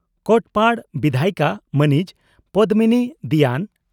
ᱠᱚᱴᱯᱟᱰ ᱵᱤᱫᱷᱟᱭᱤᱠᱟ ᱢᱟᱹᱱᱤᱡ ᱯᱚᱫᱽᱢᱤᱱᱤ ᱫᱤᱭᱟᱹᱱ